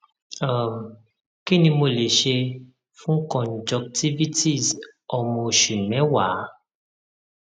um kí ni mo lè ṣe fún conjunctivitis ọmọ oṣù mẹwàá